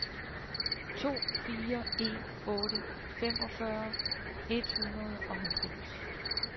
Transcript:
to fire en otte femogfyrre et hundrede og halvfems